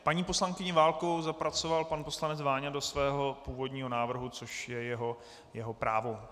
Paní poslankyni Válkovou zapracoval pan poslanec Váňa do svého původního návrhu, což je jeho právo.